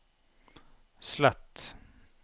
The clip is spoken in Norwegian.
slett